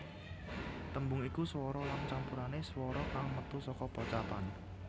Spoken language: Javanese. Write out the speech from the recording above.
Tembung iku swara lan campurané swara kang metu saka pocapan